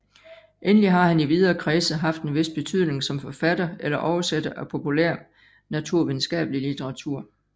Endelig har han i videre kredse haft en vis betydning som forfatter eller oversætter af populærnaturvidenskabelig litteratur